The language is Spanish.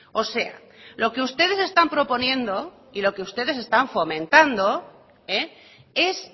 o sea lo que ustedes están proponiendo y lo que ustedes están fomentando es